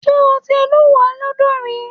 Ṣé o ti lúùwẹ́ lọ́dọ̀ rí?